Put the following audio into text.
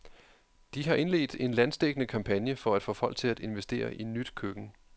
De har indledt en landsdækkende kampagne for at få folk til at investere i nyt køkken.